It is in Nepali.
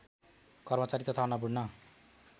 कर्मचारी तथा अन्नपूर्ण